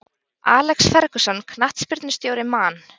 Alex Ferguson knattspyrnustjóri Man